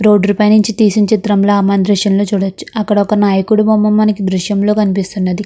Road డ్రు పై నుంచి తీసిన చిత్రంలా మనం దృశ్యంలో చూడచ్చు. అక్కడ ఒక నాయకుడి బొమ్మ మనకీ దృశ్యంలో కనిపిస్తున్నది.